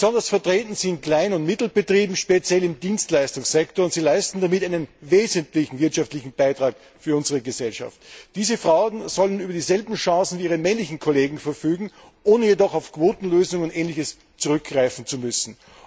Besonders vertreten sind kleine und mittlere Unternehmen, speziell im Dienstleistungssektor, und sie leisten damit einen wesentlichen wirtschaftlichen Beitrag für unsere Gesellschaft. Diese Frauen sollen über dieselben Chancen wie ihre männlichen Kollegen verfügen, ohne jedoch auf Quotenlösungen und Ähnliches zurückgreifen zu müssen.